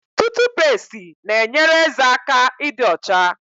Tutupesti na enyere ézè aka ịdị ocha